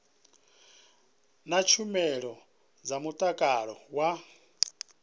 na tshumelo dza mutakalo wa